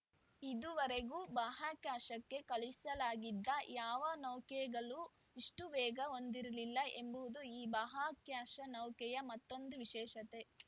ಇದುವರೆಗೂ ಬಾಹ್ಯಾಕಾಶಕ್ಕೆ ಕಳುಹಿಸಲಾಗಿದ್ದ ಯಾವ ನೌಕೆಗಳೂ ಇಷ್ಟುವೇಗ ಹೊಂದಿರಲಿಲ್ಲ ಎಂಬುದು ಈ ಬಾಹ್ಯಾಕಾಶ ನೌಕೆಯ ಮತ್ತೊಂದು ವಿಶೇಷತೆ